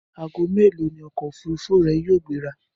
Aago mélòó ni ọkọ̀ òfúrufú rẹ yóò gbéra?